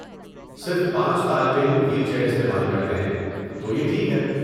صرف پانچ طالب علم وہیل چیئر استعمال کرتے ہیں، تو یہ ٹھیک ہے۔